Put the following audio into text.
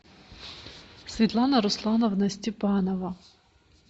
светлана руслановна степанова